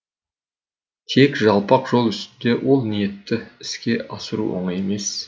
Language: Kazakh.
тек жалпақ жол үстінде ол ниетті іске асыру оңай емес